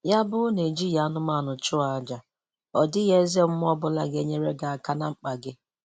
Ya bụrụ na e jighị anụmanụ chụọ aja, ọdịghị eze mmụọ ọbụla ga-enyere gị aka na mkpa gị